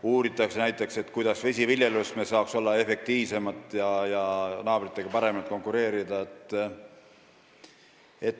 Uuritakse näiteks, kuidas me saaksime vesiviljeluses olla efektiivsemad ja naabritega paremini konkureerida.